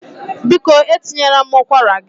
Biko etinyela m ụkwara gị